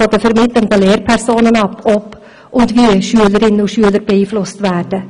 Es hängt von den vermittelnden Lehrpersonen ab, ob und wie Schülerinnen und Schüler beeinflusst werden.